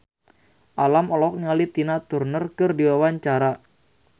Alam olohok ningali Tina Turner keur diwawancara